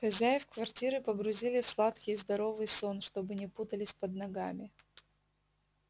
хозяев квартиры погрузили в сладкий и здоровый сон чтобы не путались под ногами